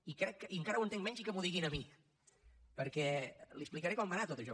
i encara ho entenc menys i que m’ho digui a mi perquè li explicaré com va anar tot això